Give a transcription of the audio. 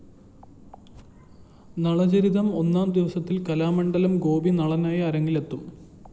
നളചരിതം ഒന്നാം ദിവസത്തില്‍ കലാമണ്ഡലം ഗോപി നളനായി അരങ്ങിലെത്തും